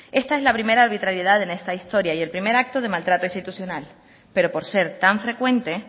esta es la primera arbitrariedad en esta historia y el primer acto de maltrato institucional pero por ser tan frecuente